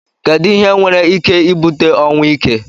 edu ihe nwere ike ibute ọnwụ ike?